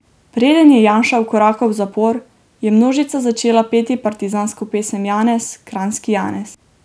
Preden je Janša vkorakal v zapor, je množica začela peti partizansko pesem Janez, kranjski Janez.